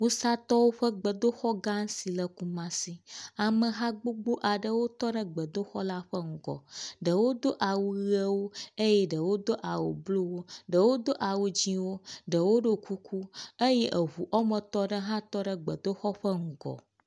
Wusatɔwo ƒe gbedoxɔ gã aɖe si le Kumasi, ameha gbogbo aɖe tɔ ɖe gbedoxɔ la ƒe ŋgɔ, ɖewo do awu ʋewo eye ɖewo do awu bluwo, ɖewo do awu dzɛ̃wo, ɖewo do kuku eye eŋu woame etɔ̃ aɖe hã tɔ ɖe gbɔdoxɔ la ŋgɔ.